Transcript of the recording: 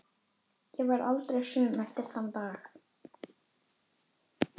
Ég varð aldrei söm eftir þann dag.